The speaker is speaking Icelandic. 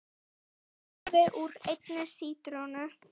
Safi úr einni sítrónu